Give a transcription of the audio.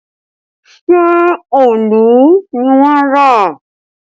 Ṣé òòlù ni wọ́n rà?